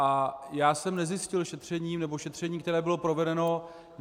A já jsem nezjistil šetřením, nebo šetření, které bylo provedeno...